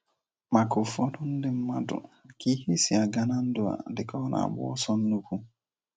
Maka ụfọdụ ndị mmadu, ka ihe si aga na ndụ a dịka o na-agba ọsọ nnukwu